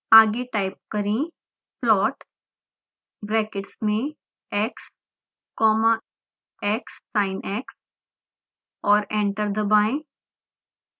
आगे टाइप करें plot brackets में x comma xsinx और एंटर दबाएं